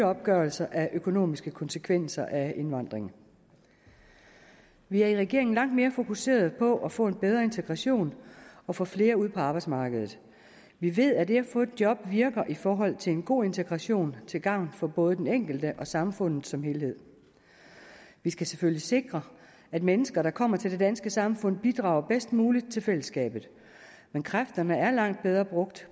opgørelse af økonomiske konsekvenser af indvandringen vi er i regeringen langt mere fokuserede på at få en bedre integration og få flere ud på arbejdsmarkedet vi ved at det at få et job virker i forhold til en god integration til gavn for både den enkelte og samfundet som helhed vi skal selvfølgelig sikre at mennesker der kommer til det danske samfund bidrager bedst muligt til fællesskabet men kræfterne er langt bedre brugt